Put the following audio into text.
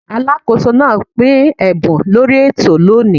Alákóso náà pín ẹ̀bùn lórí ètò lóni.